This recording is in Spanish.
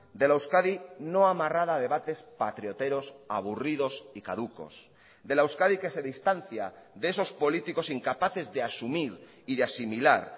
de la euskadi no amarrada a debates patrioteros aburridos y caducos de la euskadi que se distancia de esos políticos incapaces de asumir y de asimilar